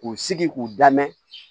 K'u sigi k'u da mɛn